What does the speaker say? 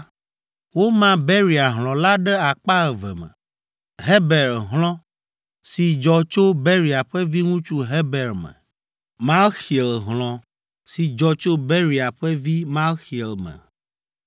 Woma Beria hlɔ̃ la ɖe akpa eve me: Heber hlɔ̃ si dzɔ tso Beria ƒe viŋutsu Heber me, Malxiel hlɔ̃ si dzɔ tso Beria ƒe vi Malxiel me.